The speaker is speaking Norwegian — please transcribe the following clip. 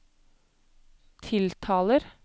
tiltaler